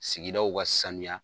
Sigidaw ka saniya.